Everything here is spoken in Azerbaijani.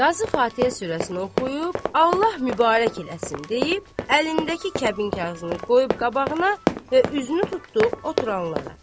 Qazı Fatihə surəsini oxuyub, Allah mübarək eləsin deyib, əlindəki kəbinkarizini qoyub qabağına və üzünü tutdu oturanlara.